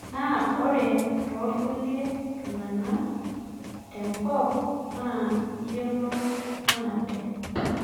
Na ore torkulie tung'anak tenkoop naa iyiolou maate